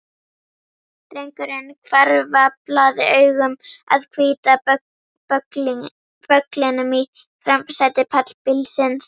Drengurinn hvarflaði augum að hvíta bögglinum í framsæti pallbílsins.